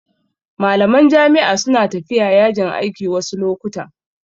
Malaman jami'a su na tafiya yajin aiki wasu lokutan